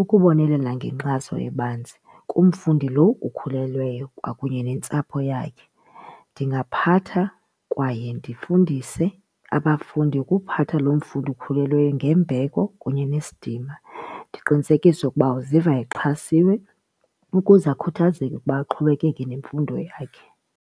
ukubonelela ngenkxaso ebanzi kumfundi lo ukhulelweyo kwakunye nentsapho yakhe. Ndingaphatha kwaye ndifundise abafundi ukuphatha lo mfundi ukhulelweyo ngembeko kunye nesidima ndiqinisekise ukuba uziva exhasiwe ukuze akhuthazeke ukuba aqhubekeke nemfundo yakhe.